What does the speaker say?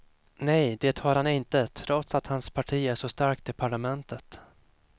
Nej, det har han inte trots att hans parti är så starkt i parlamentet.